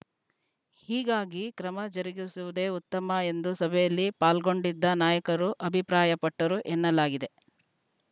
ಹೀಗಾಗಿ ಕ್ರಮ ಜರುಗಿಸುವುದೇ ಉತ್ತಮ ಎಂದು ಸಭೆಯಲ್ಲಿ ಪಾಲ್ಗೊಂಡಿದ್ದ ನಾಯಕರು ಅಭಿಪ್ರಾಯಪಟ್ಟರು ಎನ್ನಲಾಗಿದೆ